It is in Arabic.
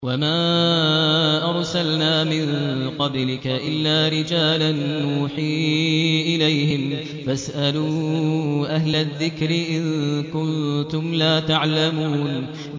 وَمَا أَرْسَلْنَا مِن قَبْلِكَ إِلَّا رِجَالًا نُّوحِي إِلَيْهِمْ ۚ فَاسْأَلُوا أَهْلَ الذِّكْرِ إِن كُنتُمْ لَا تَعْلَمُونَ